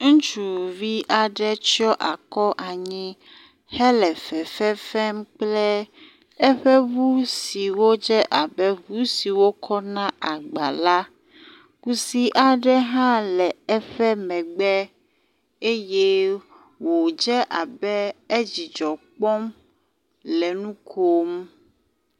Ŋutsuvi aɖe tsɔ akɔ anyi hele fefem kple eƒe ŋu siwo dze abe ŋu siwo kɔna agba la. Kusi aɖe hã le eƒe megbe eye wodze abe edzidzɔ kpɔm le nu kom.